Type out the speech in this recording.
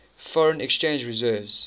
foreign exchange reserves